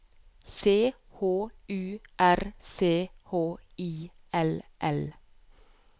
C H U R C H I L L